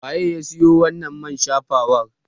Waye ya siyo wannan man shafawar?